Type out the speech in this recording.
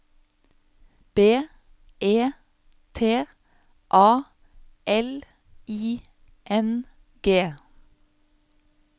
B E T A L I N G